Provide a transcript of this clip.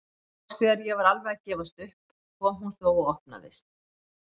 Loks þegar ég var alveg að gefast upp kom hún þó og opnaðist.